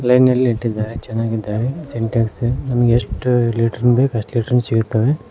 ಲೈನ್ನಲ್ಲಿ ಇಟ್ಟಿದ್ದಾರೆ ಚೆನ್ನಾಗಿದ್ದಾವೆ ಸಿಂಟೆಕ್ಸ್ ನಮಗೆ ಎಷ್ಟ ಲೀಟರ್ ಬೇಕ ಅಷ್ಟ ಲೀಟರ್ ಸಿಗ್ತವೆ.